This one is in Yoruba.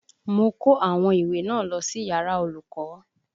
Mo kó àwọn ìwé náà lọ sí yàrá olùkọ́